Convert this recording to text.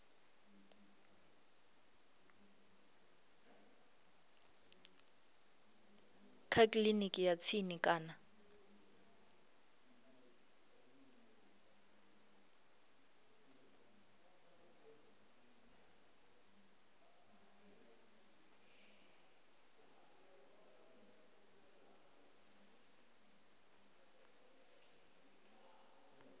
kha kiliniki ya tsini kana